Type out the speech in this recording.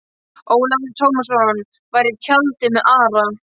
Ólafur Tómasson var í tjaldi með Ara.